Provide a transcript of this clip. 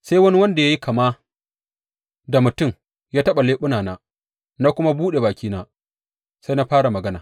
Sai wani wanda ya yi kama da mutum ya taɓa leɓunana, na kuma buɗe bakina sai na fara magana.